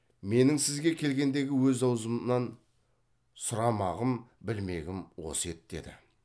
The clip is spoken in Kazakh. менің сізге келгендегі өз аузымнан сұрамағым білмегім осы еді деді